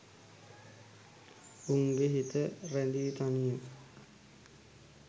උන්ගේ හිත රැඳි තනිය